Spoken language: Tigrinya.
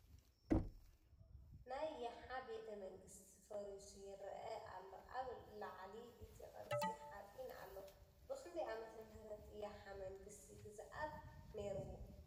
ናይ ይሓ ቤተ መንግስቲ ፈሪሱ ይርአ ኣሎ ኣብ ላዕሊ እቲ ቅርሲ ሓፂን ኣሎ ። ብ ክንደይ ዓ/ም ይሓ መንግስቲ ግዝኣት ነይርዎ ?